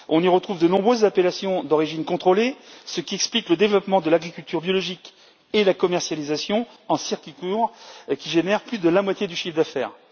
On y retrouve de nombreuses appellations d'origine contrôlée, ce qui explique le développement de l'agriculture biologique et la commercialisation en circuit court qui génère plus de la moitié du chiffre d'affaires.